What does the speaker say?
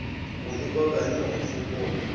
go ikoka le go ikgopola